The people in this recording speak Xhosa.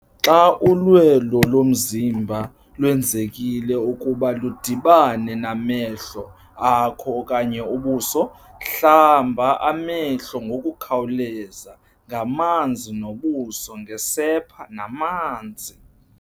Xa ulwelo lomzimba lwenzekile ukuba ludibane namehlo akho okanye ubuso, hlamba amehlo ngokukhawuleza ngamanzi nobuso ngesepa namanzi.